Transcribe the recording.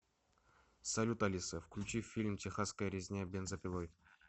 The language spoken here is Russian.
салют алиса включи фильм техасская резня бензопилой